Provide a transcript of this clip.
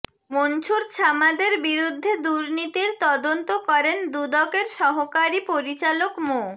মনছুর ছামাদের বিরুদ্ধে দুর্নীতির তদন্ত করেন দুদকের সহকারী পরিচালক মো